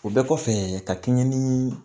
O bɛɛ kɔfɛ ka kɛɲɛ ni